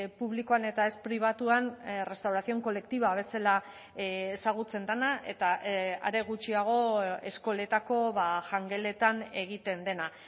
publikoan eta ez pribatuan restauración colectiva bezala ezagutzen dena eta are gutxiago eskoletako jangeletan egiten dena